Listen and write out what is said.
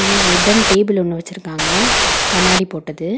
இங்க wooden table ஒன்னு வெச்சிருக்காங்க கண்ணாடி போட்டது.